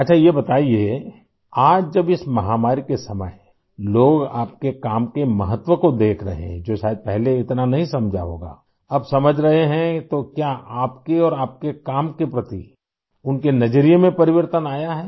अच्छा ये बताइए आज जब इस महामारी के समय लोग आपके काम के महत्व को देख रहे हैं जो शायद पहले इतना नहीं समझा होगा अब समझ रहे हैं तो क्या आपके और आपके काम के प्रति उनके नजरिए में परिवर्तन आया है